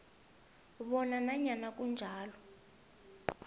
bona nanyana kunjalo